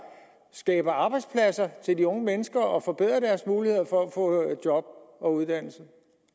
skaber arbejdspladser til de unge mennesker og forbedrer deres muligheder for at få job og uddannelse